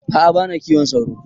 A'a bana kiwon sauro